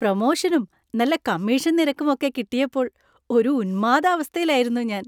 പ്രൊമോഷനും നല്ല കമ്മീഷൻ നിരക്കും ഒക്കെ കിട്ടിയപ്പോൾ ഒരു ഉന്മാദാവസ്ഥയിലായിരുന്നു ഞാൻ.